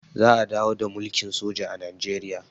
za a dawo da mulkin soji a najeriya